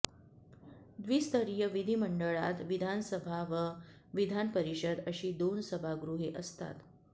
द्विस्तरीय विधिमंडळात विधानसभा व विधान परिषद अशी दोन सभागृहे असतात